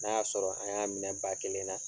N'a y'a sɔrɔ an y'a minɛ ba kelen na